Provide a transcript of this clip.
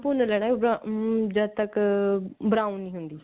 ਉਹਨੂੰ ਭੁੰਨ ਲੈਣਾ ਅਮ ਜਦੋਂ ਤਕ brown ਨਹੀਂ ਹੁੰਦੀ